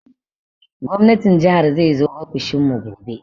Gwamnatin jihar zai zo ofishin mu gobe